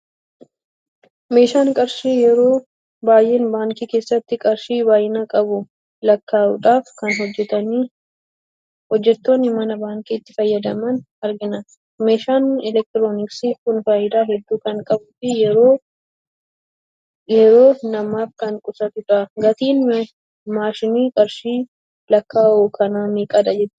Maashiin qarshii yeroo baay'ee baankii keessatti qarshii baay'ina qabu lakka'uudhaf kan hojjettonni mana baankii itti fayyadaman argina. meeshaan elektiroonksii kun faayidaa hedduu kan qabuu fi yeroo naamaf kan qusatudha. gatiin maashiin qarshii lakka'uu kana meeqadha jette yaadda?